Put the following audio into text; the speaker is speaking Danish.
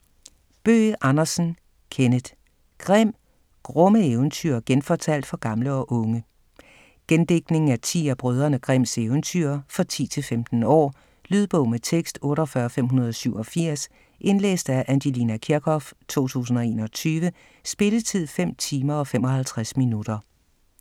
Bøgh Andersen, Kenneth: Grimm: grumme eventyr genfortalt for gamle og unge Gendigtning af ti af Brødrene Grimms eventyr. For 10-15 år. Lydbog med tekst 48587 Indlæst af Angelina Kirchhoff, 2021. Spilletid: 5 timer, 55 minutter.